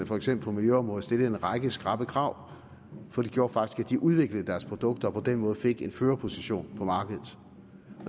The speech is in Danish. for eksempel miljøområdet stillede en række skrappe krav for det gjorde faktisk at de udviklede deres produkter og på den måde fik en førerposition på markedet